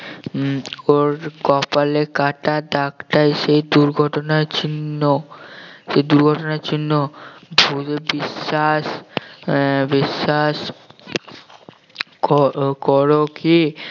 উম ওর কপালের কাটা দাগটাই দুর্ঘটনার চিহ্ন সেই দুর্ঘটনার চিহ্ন ভুলে বিশ্বাস আহ বিশ্বাস ক~ করো কি